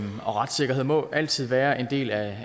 og retssikkerhed må altid være en del af